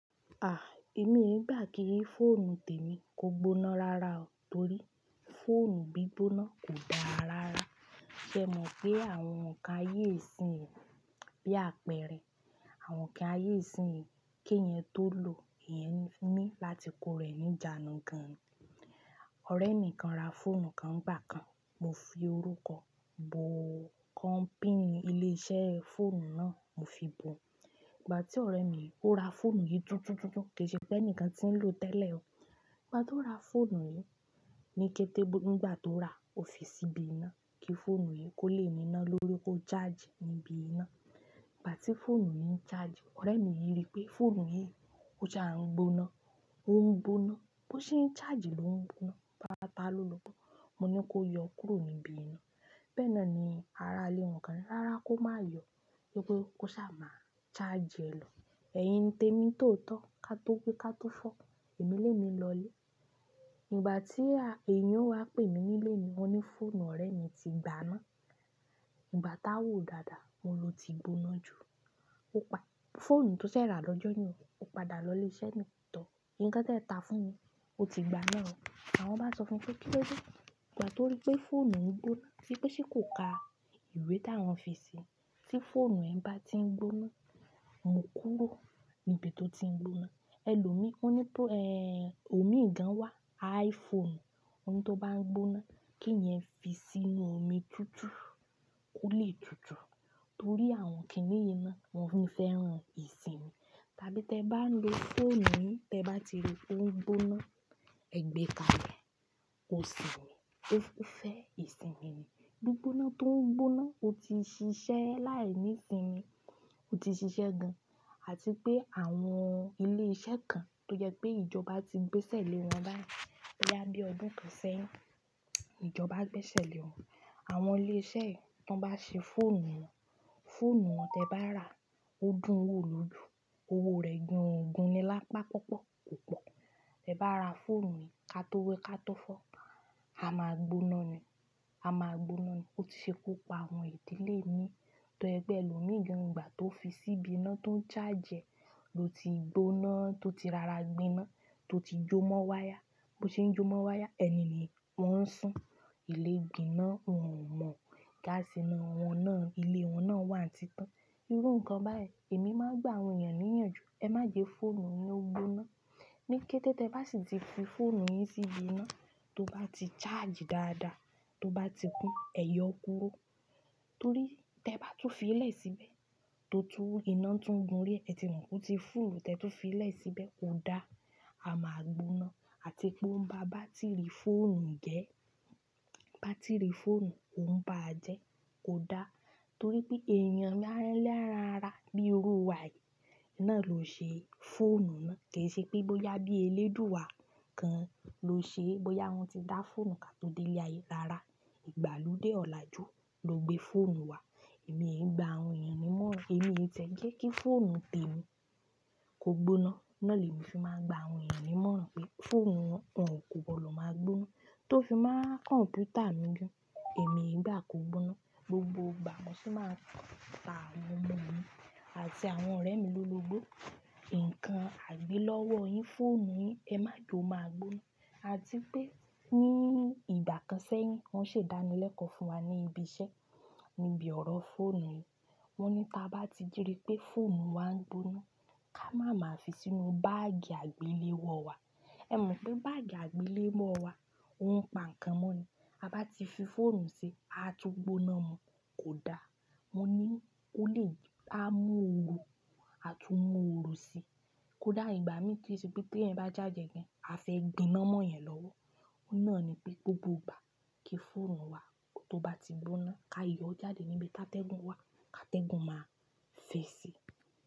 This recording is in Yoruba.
À, èmi gba ki fóònù tèmi kò gbóná rara o torí fóònù bí gbigboná kò dára rara. Ṣé ẹ mọ̀ pé àwọn ǹkan ayé ìsinyìí bí àpẹrẹ, àwọn ǹkan ayé ìsinyìí kí èèyàn tó lò èèyàn ní láti kó rẹ̀ ní ìjánu gan. Ọ̀rẹ́ mi kan ra fóònù kan gbà kan, mo fi orúkọ bo kọ́pì ilé iṣẹ́ fóònù náà mo fi bo. Ìgbà tí ọ̀rẹ́ mi yìí ó ra fóònù yìí tuntun tuntun, kì í ṣe pé ẹnìkan tí ń lò tẹ́lẹ̀ o. Ìgbà tó ra fóònù yìí, ní kété nígbà tó ra ó fi sí ibi iná kí fóònù yìí kó lè niná lórí kó ṣáàjì níbi iná. Ìgbà tí fóònù yìí ń ṣáàjì, ọ̀rẹ́ mi yìí rí pé fóònù yìí ó jà ń gbóná, ó ń gbóná, bó ṣe ń ṣáàjì ló ń gbóná, báta lólùú gbó. Mo ní kó yọ kúrò níbi iná. Bẹ́ẹ̀ náà ni ara lé wọn kan, rárá kó má yọ, pé kó ṣáà má ṣáàjì ẹ lọ. Ẹ̀yin tèmi tòótọ́, ká tó wi ká tó fọ́, èmi lé mi lọlé. Ìgbà tí èèyàn wá pè mí nílé mi, wọ́n ní fóònù ọ̀rẹ́ mi ti gbaná. Ìgbà táwò dáadáa won ló ti gbóná jù. Ó pa fóònù tó ṣẹ̀ rà lọ́jọ́ yẹn o, ó padà lọ ilé iṣẹ́ ni tọ̀. Ǹkan tẹ̀ ta fún mi, ó ti gbóná o. Àwọn bá sọ fún pé kí ló dé? Ìgbà tó rí pé fóònù ń gbóná, wipe pé ṣe kò ka ìwé tí àwọn fi síi, tí fóònù rẹ bá ti ń gbóná, mú kúrò níbi tó ti ń gbóná. Ẹ lò mi, wọ́n ní pé ẹ, omi ìgàn wá, iPhone, wọ́n ní tó bá ń gbóná kí ẹn fi sínú omi tutù kó lè tutù. Torí àwọn kì í ní iná, wọ́n fẹ́ran ìsinmi. Tàbí tí ẹ bá ń lo fóònù yín, tí ẹ bá ti rí i tó ń gbóná, ẹ gbé kale, kó sinmi, ó fẹ́ ìsinmi ni. Gbóná tó ń gbóná, ó ti ṣiṣẹ́ láì ní sinmi, ó ti ṣiṣẹ́ gan. Àti pé àwọn ilé iṣẹ́ kan tó yẹ pé ìjọba ti gbẹ́sẹ̀ lé wọn báyìí. Bí ẹ bá gbé ọdún kan sẹ́yìn, ìjọba gbẹ́sẹ̀ lé wọn. Àwọn ilé iṣẹ́ tí wọ́n bá ṣe fóònù wọn, fóònù wọn tí ẹ bá rà ó dùn wò lójú, owó rẹ̀ gan ogún ni lápá pọ́pọ̀ kò pọ́. Tí ẹ bá ra fóònù yìí ká tó wẹ ká tó fọ́, a máa gbóná ni, a máa gbóná ni. Ó ti ṣe ku pa àwọn ìdílé mi tó yẹ pé ẹ lò mi gan ìgbà tó fi sí ibi iná tó ń ṣáàjì ẹ ló ti gbóná tó ti rara gbiná tó ti jó mọ́ wáyà. Bo ṣe ń jó mọ́ wáyà, ẹni ni wọ́n ń sùn. Ilé gbiná wọn ò mọ̀, gáásì inú wọn náà ilé wọn náà wà ti tán. Irú nǹkan báyìí èmi máa ń gba àwọn èèyàn níyànjú, ẹ má gbé fóònù yín ó gbóná. Ní kété tí ẹ bá sì ti fi fóònù yín sí ibi iná tó bá ti ṣáàjì dáadáa, tó bá ti kún, ẹ yọ kúrò. Torí tí ẹ bá tún fi lẹ̀ síbẹ̀ tó tú iná tún gun rí ẹ ti mọ̀ pé ó ti fúùlù tí ẹ tún fi lẹ̀ síbẹ̀ kó dá, a máa gbóná àti pé ó ń ba bátìrì fóònù jẹ́. Bátìrì fóònù ò ń ba jẹ́ kò dá torí pé èèyàn lẹ́ranra bí orò wa yìí náà ló ṣe fóònù náà. Kì í ṣe pé bóyá bí eléèdúú wa kan ló ṣe ẹ, bóyá wọ́n ti dá fóònù ká tó délé ayé rara. Ìgbàlódé ọ̀la ju ló gbé fóònù wá. Èmi gba àwọn èèyàn ní mọ́ran, èmi tẹ̀ jé kí fóònù tèmi kò gbóná. Náà ni èmi fi máa ń gba àwọn èèyàn ní mọ́ran pé fóònù wọn kò gbọdọ̀ máa gbóná. Tó fi máa kọ̀ǹpútà mi jù, èmi gba kò gbóná. Gbogbo ìgbà mo sì máa ń ta àwọn ọmọ mi àti àwọn ọ̀rẹ́ mi lólo gbó. Ǹkan àgbélọ́wọ́ yín, fóònù yín ẹ má je ó máa gbóná. Àti pé ní ìgbà kan sẹ́yìn wọ́n ṣe dánilẹ́kọ̀ọ́ fún wa ní ibi iṣẹ́, níbi ọ̀rọ̀ fóònù yìí. Wọ́n ní tí a bá ti rí pé fóònù wa ń gbóná, ká má máa fi sínú báàgì àgbéléwọ́ wa. Ẹ mọ̀ pé báàgì àgbéléwọ́ wa o npa ǹkan mọ́ ni. A bá ti fi fóònù síi, a tún gbóná mú kò dá. Mo ní ó lè á mú òrùn àti mú òrùn sí i kò dá ìgbà mí tí èse bí tí ẹ̀ ń bá shagi e gan, a fẹ́ gbiná mọ́ ìyẹn lọ́wọ́. Ó náà ni pé gbogbo ìgbà kí fóònù wa tó bá ti gbóná ká yọ jáde níbi tí atẹ́gùn wà ká tẹ́gùn máa fẹ́ ẹ síi.